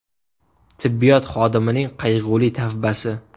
Tibbiyot xodimining qayg‘uli tavbasi”.